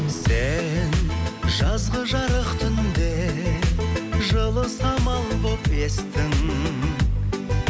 сен жазғы жарық түнде жылы самал болып естің